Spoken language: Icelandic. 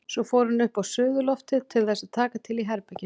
Svo fór hún upp á suðurloftið til þess að taka til í herberginu.